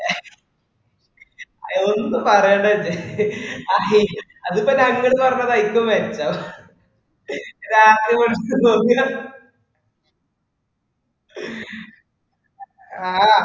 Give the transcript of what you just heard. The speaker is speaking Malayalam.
ആ ഒന്നും പറയണ് പിന്നെ അതിപ്പൊ ഞങ്ങള് പറഞ്ഞ ഇൻക്ക് മെച്ചം രാത്രി കൊറച് ഒറങ്ങാ